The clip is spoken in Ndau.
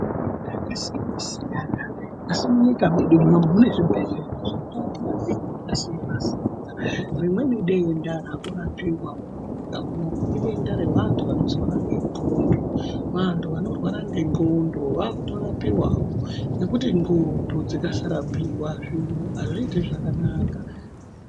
Tenda akasiyana siyana asi munyika mwedu muno mune zvibhedhlera zvinorape matenda akasiyana siyana rimweni debda rakurapiwa munyika munomu idenda revantu vanorwara ngendxondo Vantu canorwara ngendxondo vakutorapiwa ngekuti ndxondo dzikasarapiwa zviro azviiti zvakanaka.